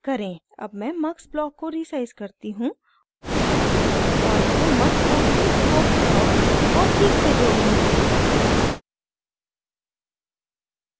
अब मैं mux block को रीसाइज़ करती हूँ और मैं mux और cscope ब्लॉक को ठीक से जोडूँगी